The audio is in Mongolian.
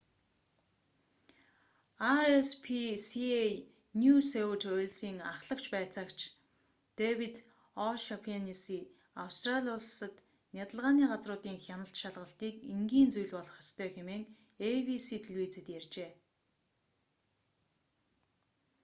rspca нью сөүт уэльсийн ахлах байцаагч дэвид о'шаннесси нь австрали улсад нядалгааны газруудын хяналт шалгалтыг энгийн зүйл болгох ёстой хэмээн эйбиси телевизэд ярьжээ